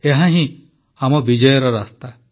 ଏହା ହିଁ ଆମ ବିଜୟର ରାସ୍ତା